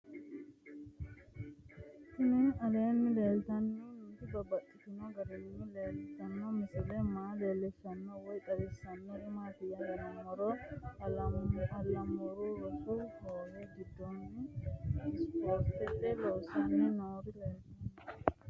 Tinni aleenni leelittannotti babaxxittinno garinni leelittanno misile maa leelishshanno woy xawisannori maattiya yinummoro alaamuru rosu hoowe gidoonni isifooritte loosanni noori leelittanno